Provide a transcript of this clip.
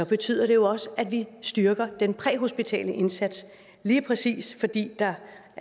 betyder det også at vi styrker den præhospitale indsats lige præcis fordi der